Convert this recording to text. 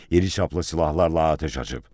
İriçaplı silahlarla atəş açıb.